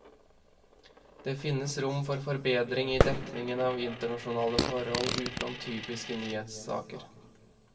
Det finnes rom for forbedring i dekningen av internasjonale forhold utenom typiske nyhetssaker.